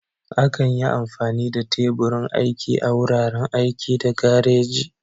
Akan yi amfani da teburin aiki a wuraren aiki da gareji.